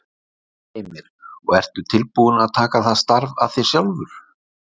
Heimir: Og ertu tilbúinn að taka það starf að þér sjálfur?